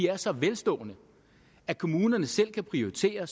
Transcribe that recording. er så velstående at kommunerne selv kan prioritere